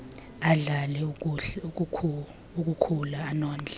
adlale akukhula anondle